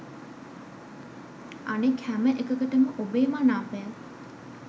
අනෙක් හැම එකකටම ඔබේ මනාපය